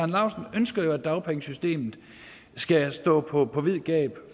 laustsen ønsker jo at dagpengesystemet skal stå på på vid gab